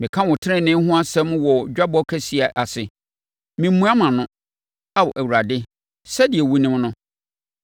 Meka wo tenenee ho asɛm wɔ dwabɔ kɛseɛ ase; meremmua mʼano, Ao Awurade, sɛdeɛ wonim no.